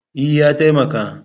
E, ya taimaka